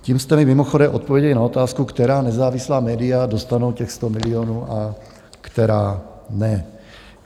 Tím jste mi mimochodem odpověděli na otázku, která nezávislá média dostanou těch 100 milionů a která ne.